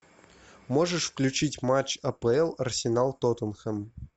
можешь включить матч апл арсенал тоттенхэм